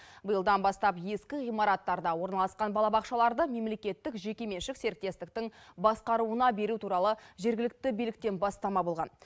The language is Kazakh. биылдан бастап ескі ғимараттарда орналасқан балабақшаларды мемлекеттік жеке меншік серіктестіктің басқаруына беру туралы жергілікті биліктен бастама болған